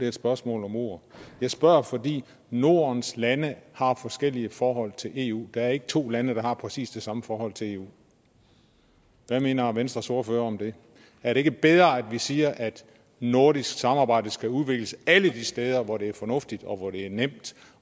et spørgsmål om ord jeg spørger fordi nordens lande har forskellige forhold til eu der er ikke to lande der har præcis det samme forhold til eu hvad mener venstres ordfører om det er det ikke bedre at vi siger at nordisk samarbejde skal udvikles alle de steder hvor det er fornuftigt og hvor det er nemt